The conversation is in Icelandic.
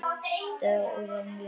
Dóra Mjöll.